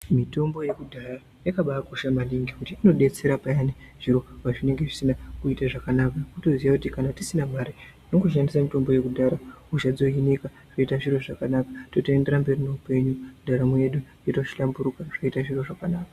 Mutombo yakudhaya yakabakosha maningi ngekuti inobetsera payani zviro pazvinonga zvisina kuita zvakanaka. Votoziya kuti kana tisina mare tinongo shandisa mitombo yakudhara hosha yohinika zviro zvoita zviro zvakanaka. Totoenderera mberi neupenyu ndaramo yedu yotohlamburuka zvoita zviro zvakanaka.